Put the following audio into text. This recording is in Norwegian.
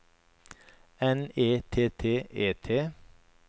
N E T T E T